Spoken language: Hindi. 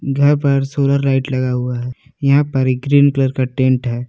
घर पर सोलर लाइट लगा हुआ है यहां पर एक ग्रीन कलर का टेंट है।